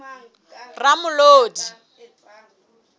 ramolodi